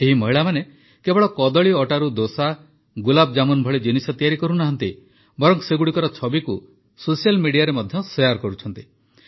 ଏହି ମହିଳାମାନେ କେବଳ କଦଳୀ ଅଟାରୁ ଦୋସା ଗୁଲାବଜାମୁନ୍ ଭଳି ଜିନିଷ ତିଆରି କରୁନାହାନ୍ତି ବରଂ ସେଗୁଡ଼ିକର ଛବିକୁ ସୋସିଆଲ୍ ମିଡିଆରେ ମଧ୍ୟ ଶେୟାର୍ କରିଛନ୍ତି